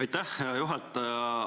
Aitäh, hea juhataja!